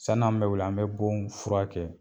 San'an bɛ wuli an mɛ bon furakɛ